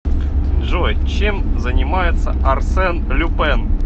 джой чем занимается арсен люпен